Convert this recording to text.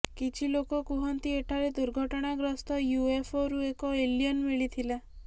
କିଛି ଲୋକ କୁହନ୍ତି ଏଠାରେ ଦୁର୍ଘଟଣାଗ୍ରସ୍ତ ୟୁ ଏଫରୁ ଏକ ଏଲିୟନ ମିଳିଥିଲା